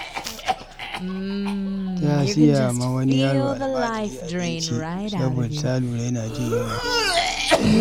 Ta siya wa wani yaro almajiri abinci bayan ta lura yana jin yunwa.